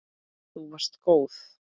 Þú varst góð.